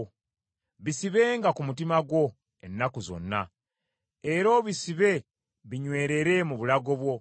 Bisibenga ku mutima gwo ennaku zonna era obisibe binywerere mu bulago bwo.